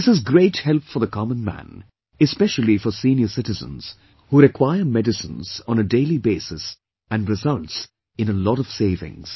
This is great help for the common man, especially for senior citizens who require medicines on a daily basis and results in a lot of savings